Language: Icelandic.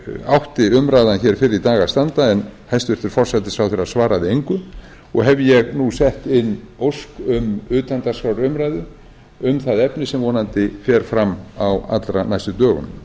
átti umræðan hér fyrr í dag að standa en hæstvirtur forsætisráðherra svaraði engu og hef ég nú sett inn ósk um utandagskrárumræðu um það efni sem vonandi fer fram á allra næstu dögum